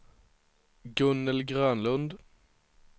Gunnel Grönlund